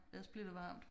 Ellers bliver det varmt